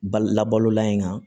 Ba labalola in kan